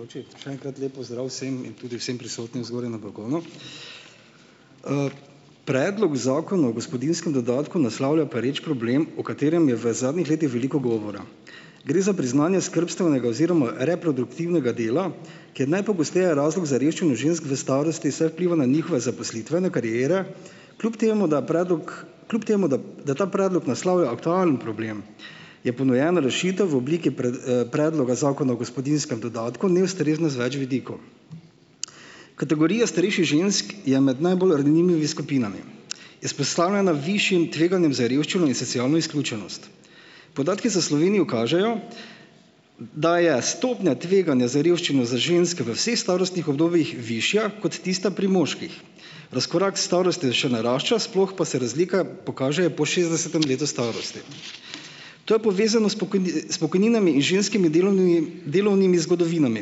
Joči. Še enkrat lep pozdrav vsem! In tudi vsem prisotnim zgoraj na balkonu! predlog zakona o gospodinjskem dodatku naslavlja pereč problem, o katerem je v zadnjih letih veliko govora. Gre za priznanje skrbstvenega oziroma reproduktivnega dela, ki je najpogosteje razlog za revščino žensk v starosti, saj vpliva na njihove zaposlitvene kariere. Kljub temu, da predlog, kljub temu da, da ta predlog naslavlja aktualen problem, je ponujena rešitev v obliki pred, predloga zakona o gospodinjskem dodatku ni ustrezna z več vidikov. Kategorija starejših žensk je med najbolj ranljivimi skupinami. Izpostavljena višjim tveganjem za revščino in socialno izključenost. Podatki za Slovenijo kažejo, da je stopnja tveganja za revščino za ženske v vseh starostnih obdobjih višja kot tista pri moških. Razkorak s starostjo še narašča, sploh pa se razlike pokažejo po šestdesetem letu starosti. To je povezano s s pokojninami in ženskimi delunimi, delovnimi zgodovinami,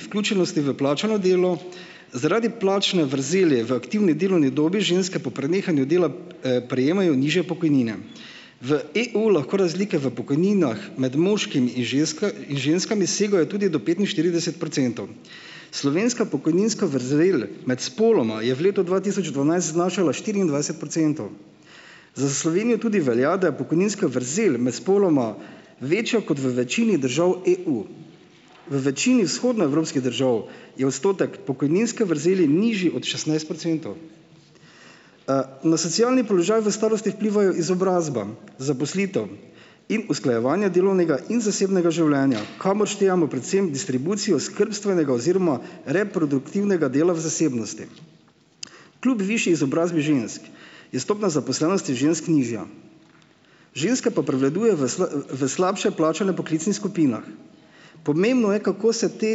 vključenosti v plačano delo. Zaradi plačne vrzeli v aktivni delovni dobi ženske po prenehanju dela prejemajo nižje pokojnine. V EU lahko razlike v pokojninah med moškimi in ženska, in ženskami segajo tudi do petinštirideset procentov. Slovenska pokojninska vrzel med spoloma je v letu dva tisoč dvanajst znašala štiriindvajset procentov. Za Slovenijo tudi velja, da je pokojninska vrzel med spoloma večja kot v večini držav EU. V večini vzhodnoevropskih držav je odstotek pokojninske vrzeli nižji od šestnajst procentov. Na socialni položaj v starosti vplivajo izobrazba, zaposlitev in usklajevanje delovnega in zasebnega življenja, kamor štejemo predvsem distribucijo skrbstvenega oziroma reproduktivnega dela v zasebnosti. Kljub višji izobrazbi žensk je stopnja zaposlenosti žensk nižja. Ženske pa prevladujejo v v slabše plačanih poklicnih skupinah. Pomembno je, kako se te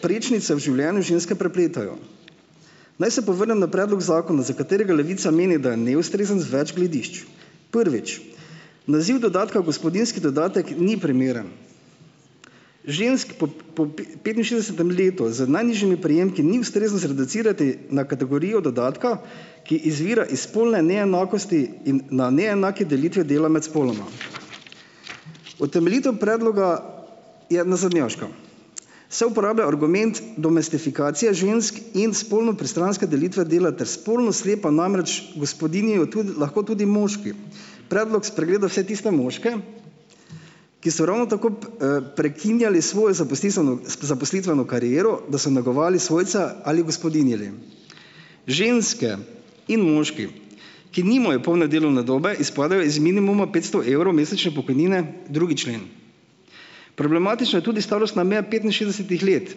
prečnice v življenju ženske prepletajo. Naj se povrnem na predlog zakona, za katerega Levica meni, da je neustrezen z več gledišč. Prvič, naziv dodatka gospodinjski dodatek ni primeren. Žensk po p po petinšestdesetem letu z najnižjimi prejemki ni ustrezno zreducirati na kategorijo dodatka, ki izvira iz spolne neenakosti in na neenaki delitvi dela med spoloma. Utemeljitev predloga je nazadnjaška. Se uporablja argument domestifikacije žensk in spolno pristranske delitve dela ter spolno slepa, namreč gospodinjijo tudi, lahko tudi moški. Predlog spregleda vse tiste moške, ki so ravno tako prekinjali svojo zaposlitveno, zaposlitveno kariero, da so negovali svojca ali gospodinjili. ženske in moški, ki nimajo polne delovne dobe, izpadejo iz minimuma petsto evrov mesečne pokojnine, drugi člen. Problematična je tudi starostna meja petinšestdesetih let,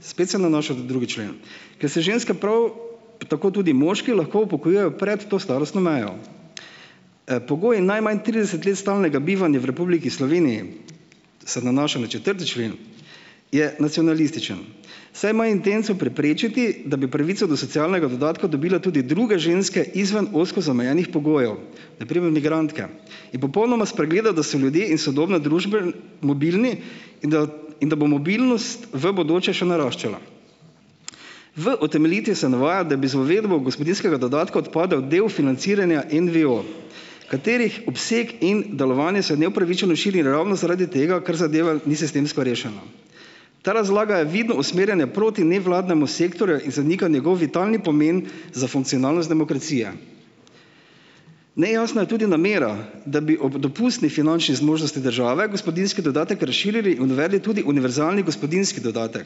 spet se nanaša da drugi člen, ker se ženske, prav tako tudi moški, lahko upokojujejo pred to starostno mejo. Pogoj je najmanj trideset let stalnega bivanja v Republiki Sloveniji, se nanaša na četrti člen, je nacionalističen, saj ima intenco preprečiti, da bi pravico do socialnega dodatka dobile tudi druge ženske izven ozko zamejenih pogojev, na primer migrantka, in popolnoma spregleda, da so ljudje in sodobne družbe mobilni, in da in da bo mobilnost v bodoče še naraščala. V utemeljitvi se navaja, da bi z uvedbo gospodinjskega dodatka odpadel del financiranja NVO, katerih obsek in delovanje se neupravičeno širi ravno zaradi tega, ker zadeva ni sistemsko rešena. Ta razlaga je vidno usmerjanje proti nevladnemu sektorju in zanika njegovi talni pomen za funkcionalnost demokracije. Nejasna je tudi namera, da bi ob dopustni finančni zmožnosti države gospodinjski dodatek razširili in uvedli tudi univerzalni gospodinjski dodatek.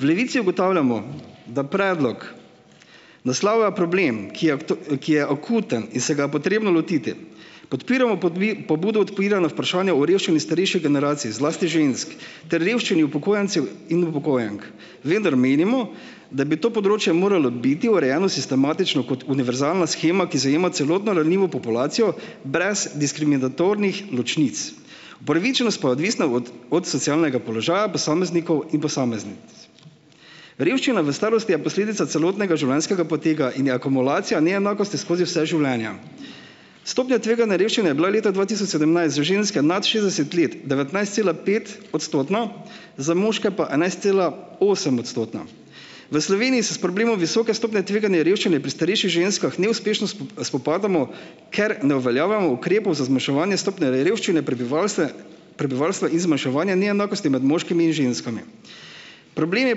V Levici ugotavljamo, da predlog naslavlja problem, ki je ki je akuten in se ga je potrebno lotiti. Podpiramo pobudo odpiranja vprašanja o revščini starejše generacije, zlasti žensk, ter revščini upokojencev in upokojenk. Vendar menimo, da bi to področje moralo biti urejeno sistematično kot univerzalna shema, ki zajema celotno ranljivo populacijo brez diskriminatornih ločnic. Upravičenost pa je odvisna od, od socialnega položaja posameznikov in posameznic. Revščina v starosti je posledica celotnega življenjskega poteka in je akumulacija neenakosti skozi vse življenje. Stopnja tveganja revščine je bila leta dva tisoč sedemnajst za ženske nad šestdeset let devetnajstcelapetodstotna, za moške pa enajstcela- osemodstotna. V Sloveniji se s problemom visoke stopnje tveganja revščine pri starejših ženskah neuspešno spopadamo, ker ne uveljavljamo ukrepov za zmanjševanje stopnje revščine prebivalstve prebivalstva in zmanjševanja neenakosti med moškimi in ženskami. Problem je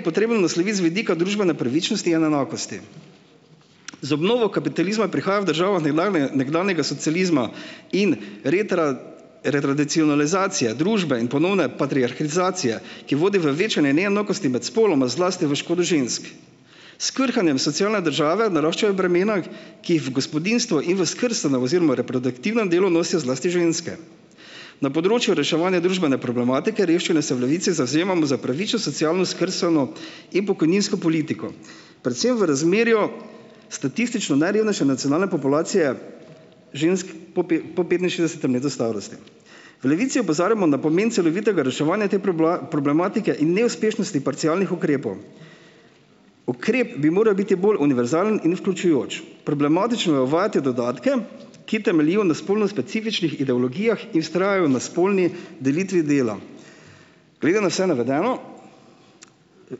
potrebno nasloviti z vidika družbene pravičnosti in enakosti. Z obnovo kapitalizma je prihaja v državah nekdane, nekdanjega socializma in retradicionalizacije družbe in ponovne patriarirhizacije, ki vodi v večanje neenakosti med spoloma, zlasti v škodo žensk. S krhanjem socialne države naraščajo bremena, k ki jih v gospodinjstvo in v skrbstveno oziroma reproduktivnem delu nosijo zlasti ženske. Na področju reševanja družbene problematike revščine se v Levici zavzemamo za pravično socialno, skrbstveno in pokojninsko politiko, predvsem v razmerju statistično najrevnejše nacionalne populacije žensk po pe po petinšestdesetem letu starosti. V Levici opozarjamo na pomen celovitega reševanja te problematike in neuspešnosti parcialnih ukrepov. Ukrep bi moral biti bolj univerzalen in vključujoč. Problematično je uvajati dodatke, ki temeljijo na spolno specifičnih ideologijah in vztrajajo na spolni delitvi dela. Glede na vse navedeno v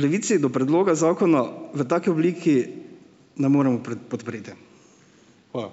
Levici do predloga zakona v taki obliki ne moremo podpreti. Hvala.